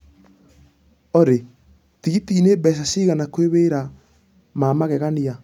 Olly tigitĩni mbeca cĩgana kwi wĩra ma magegania